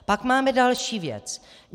Pak máme další věc.